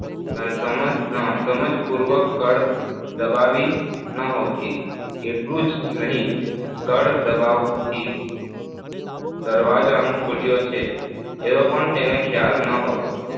સમજ અમ સમજપૂર્વક કળ દબાવી નહોતી, એટલું જ નહીં આ કળ દબાવથી દરવાજો